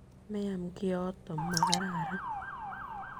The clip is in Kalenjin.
Meam kioto, ma kararan.